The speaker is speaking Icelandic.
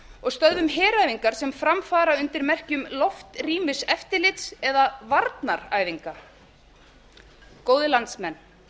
og stöðvum heræfingar sem fram fara undir merkjum loftrýmiseftirlits eða varnaræfinga góðir landsmenn